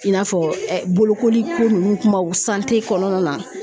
I n'a fɔ bolokoliko ninnu kumaw kɔnɔna na